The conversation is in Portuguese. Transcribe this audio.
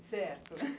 Certo